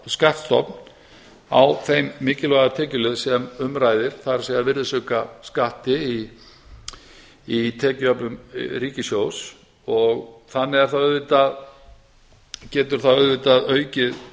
skattstofn á þeim mikilvæga tekjuliði sem um ræðir það er virðisaukaskatti í tekjuöflun ríkissjóðs og þannig getur það auðvitað aukið